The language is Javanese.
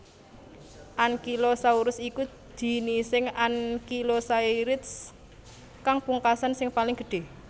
Ankylosaurus iku jinising ankylosaurids kang pungkasan sing paling gedhé